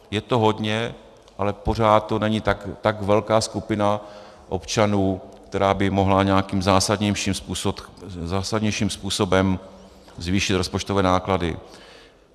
Je to hodně, ale pořád to není tak velká skupina občanů, která by mohla nějakým zásadnějším způsobem zvýšit rozpočtové náklady.